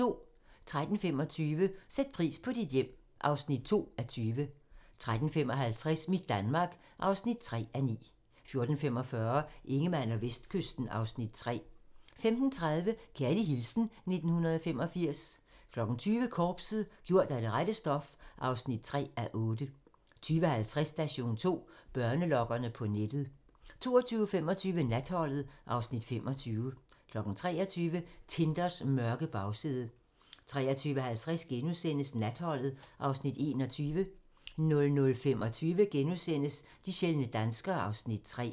13:25: Sæt pris på dit hjem (2:20) 13:55: Mit Danmark (3:9) 14:45: Ingemann og Vestkysten (Afs. 3) 15:30: Kærlig hilsen 1985 20:00: Korpset - gjort af det rette stof (3:8) 20:50: Station 2: Børnelokkere på nettet 22:25: Natholdet (Afs. 25) 23:00: Tinders mørke bagside 23:50: Natholdet (Afs. 21)* 00:25: De sjældne danskere (Afs. 3)*